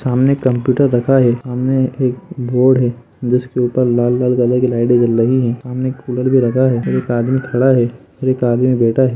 सामने कप्यूटर रखा है सामने एक बोर्ड है जिसके ऊपर लाल कलर की लाइट जल रही है सामने कूलर भी रखा है और एक आदमी खड़ा है और एक आदमी बैठा है।